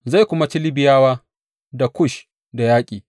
Zai kuma ci Libiyawa da Kush da yaƙi.